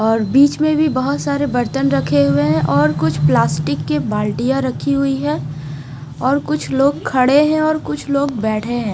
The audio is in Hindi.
और बीच में भी बहोत सारे बर्तन रखे हुए है और कुछ पल्स्टिक की बाल्टिया रखी हुई है और कुछ लोग खडे है और कुछ लोग बेठे है।